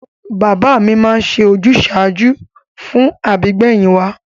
Bàbá mi máa ń ṣe ojúsàájú fún àbígbẹ̀yìn wa